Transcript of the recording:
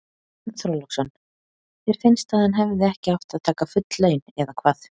Björn Þorláksson: Þér finnst að hann hefði ekki átt að taka full laun eða hvað?